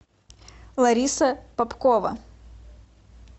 лариса попкова